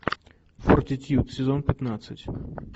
фортитьюд сезон пятнадцать